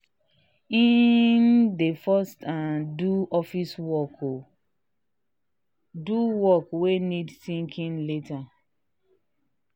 he um dey first um do office work con do work wey need thinking later.